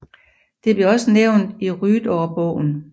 Det blev også nævnt i Rydårbogen